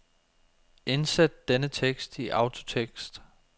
Indsæt denne tekst i autotekst.